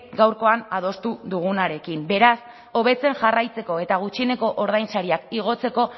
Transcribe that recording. gaurkoan adostu dugunarekin beraz hobetzen jarraitzeko eta gutxieneko ordainsariak igotzeko